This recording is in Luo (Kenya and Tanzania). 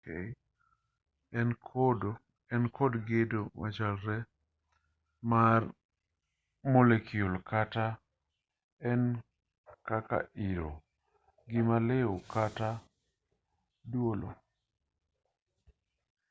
en kod gedo machalre mar molekul kata ka en kaka iro gima liw kata duolo